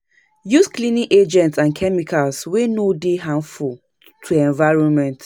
Use cleaning agents or chemicals wey no dey harmful to environment